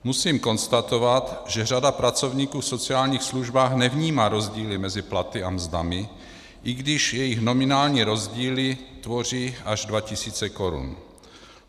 Musím konstatovat, že řada pracovníků v sociálních službách nevnímá rozdíly mezi platy a mzdami, i když jejich nominální rozdíly tvoří až 2 tisíce korun.